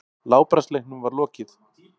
Látbragðsleiknum var lokið.